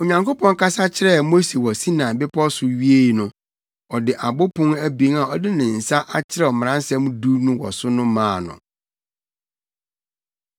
Onyankopɔn kasa kyerɛɛ Mose wɔ Sinai Bepɔw so wiee no, ɔde abo pon abien a ɔde ne nsa akyerɛw Mmaransɛm Du no wɔ so no maa no.